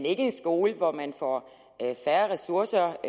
ikke en skole hvor man får færre ressourcer